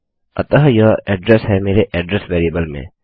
अतः यह एड्रेस है मेरे एड्रेस वेरिएबल में